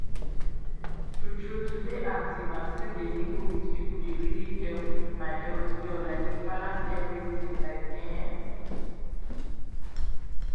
true true to dey active and still dey mingle with people dey really help my health well like e balance everything like ehn.